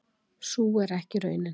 Sú er ekki raunin.